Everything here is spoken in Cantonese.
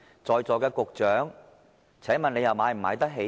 在座的局長，請問你們買得起嗎？